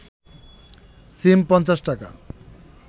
সিম ৫০ টাকা